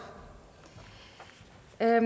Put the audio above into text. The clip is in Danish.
der er